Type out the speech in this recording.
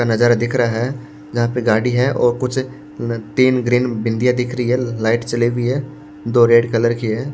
का नजारा दिख रहा है जहां पे गाड़ी है और कुछ अ तीन ग्रीन बिंदियां दिख रही है लाइट चली हुई है दो रेड कलर की है।